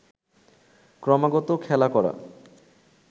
ক্রমাগত খেলা করা